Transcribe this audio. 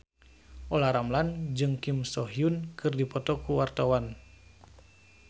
Olla Ramlan jeung Kim So Hyun keur dipoto ku wartawan